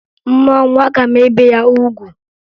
M mụọ nwa, aga m ebe ya ugwu